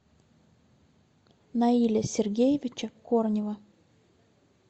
наиля сергеевича корнева